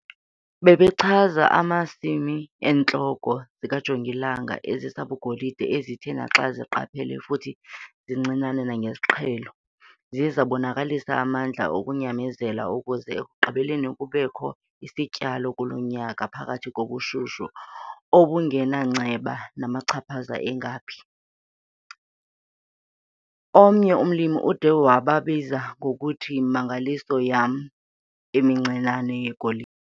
Bebechaza amasimi eentloko zikajongilanga ezisabugolide ezithe naxa zinqaphele futhi zincinane kunesiqhelo, ziye zabonakalisa amandla okunyamezela ukuze ekugqibeleni kubekho isityalo kulo nyaka, phakathi kobushushu obebungenanceba namachaphaza angephi. Omnye umlimi ude wababiza ngokuthi 'Yimimangaliso yam emincinane yegoli!'